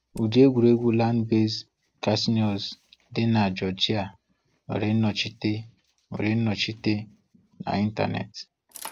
Ụdị egwuregwu Land-based casinos di na Georgia nwere nnọchite nwere nnọchite na Ịntanetị;